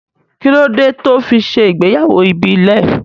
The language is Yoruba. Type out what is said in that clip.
Kí ló dé tó fi ṣe ìgbéyàwó ìbílẹ̀